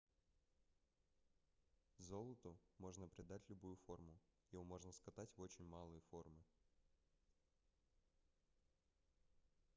золоту можно придать любую форму. его можно cкатать в очень малые формы